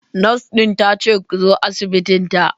Nurse din ta ce ku zo asibitinta.